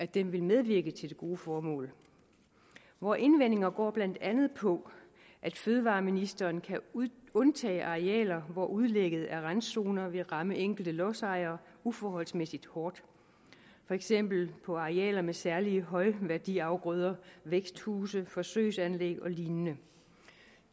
det vil medvirke til det gode formål vore indvendinger går blandt andet på at fødevareministeren kan undtage arealer hvor det at udlægge randzoner vil ramme enkelte lodsejere uforholdsmæssigt hårdt for eksempel på arealer med særlige højværdiafgrøder væksthuse forsøgsanlæg og lignende